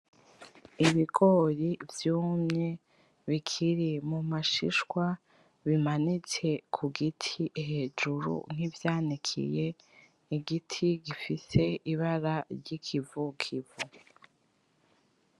Ibigori vyumye bikiri mumashishwa bimanitse kugiti hejuru nkivyanikiye igiti gifise ibara ryikivukivu